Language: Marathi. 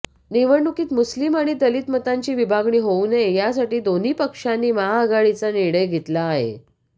निवडणुकीत मुस्लिम आणि दलित मतांची विभागणी होऊ नये यासाठी दोन्ही पक्षांनी महाआघाडीचा निर्णय घेतला आहे